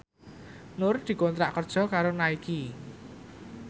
Nur dikontrak kerja karo Nike